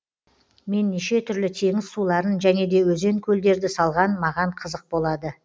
мен неше түрлі теңіз суларын және де өзен көлдерді салған маған қызық болады